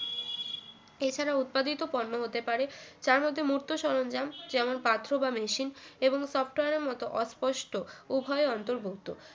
এছাড়া উৎপাদিত পণ্য হতে পারে তার মধ্যে মূর্ত সরঞ্জাম যেমন পাথর বা machine এবং software এর মত অস্পষ্টভাবে উভয় অন্তর্ভুক্ত